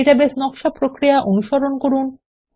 database নকশা প্রক্রিয়া অনুসরণ করুন